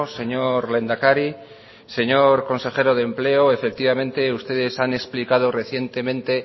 señor lehendakari señor consejero de empleo efectivamente ustedes han explicado recientemente